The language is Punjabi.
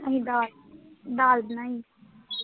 ਅਸੀਂ ਦਾਲ, ਦਾਲ ਬਣਾਈ ਸੀ